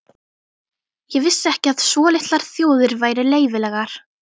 Ég vissi ekki að svo litlar þjóðir væru leyfilegar.